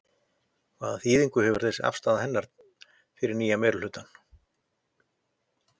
En hvaða þýðingu hefur þessi afstaða hennar fyrir nýja meirihlutann?